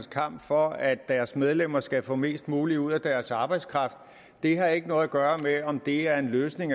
kamp for at deres medlemmer skal få mest muligt ud af deres arbejdskraft det har ikke noget at gøre med om det er en løsning